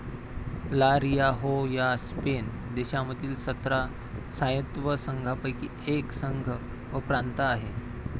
ला Rioja Spain देशांमधील सतरा स्वायत्त संघांपैकी एक संघ व प्रांत आहे